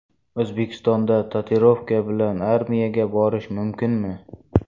O‘zbekistonda tatuirovka bilan armiyaga borish mumkinmi?.